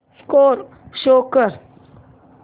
score show कर